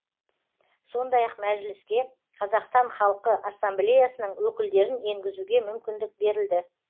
сондай ақ мәжіліске қазақстан халқы ассамблеясының өкілдерін енгізуге мүмкіндік берілді